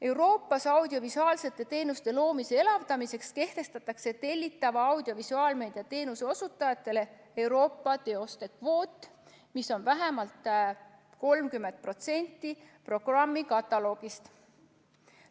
Euroopas audiovisuaalsete teenuste loomise elavdamiseks kehtestatakse tellitava audiovisuaalmeedia teenuse osutajatele Euroopa teoste kvoot, mis on vähemalt 30% programmi kataloogist.